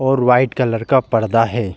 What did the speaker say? और white colour का पर्दा है।